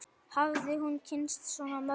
Hafði hún kynnst svona mörgum?